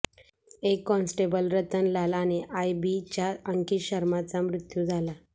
एक कॉन्स्टेबल रतन लाल आणि आयबीच्या अंकित शर्माचा मृत्यू झाला